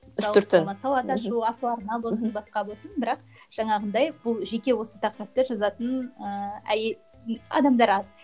сауат ашу асыл арна болсын басқа болсын бірақ жаңағындай бұл жеке осы тақырыпты жазатын ыыы ы адамдар аз